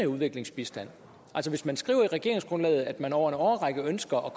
udviklingsbistanden altså hvis man skriver i regeringsgrundlaget at man over en årrække ønsker at